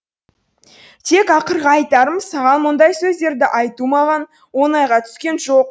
тек ақырғы айтарым саған мұндай сөздерді айту маған оңайға түскен жоқ